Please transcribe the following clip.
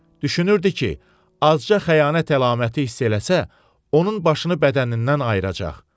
Düşünürdü ki, azca xəyanət əlaməti hiss eləsə, onun başını bədənindən ayıracaq.